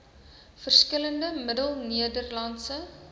verskillende middel nederlandse